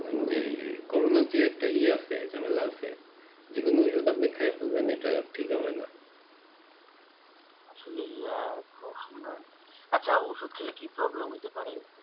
কারণ কি এই corona যে একটা ইয়ে আছে ঝামেলা আছে যেকোনো ওষুধ আপনি খাইয়া ফেলবেন ইটা ঠিক হবে ।